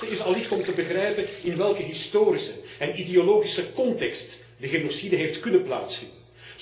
Het belangrijkste is allicht om te begrijpen in welke historische en ideologische context de genocide heeft kunnen plaatsvinden.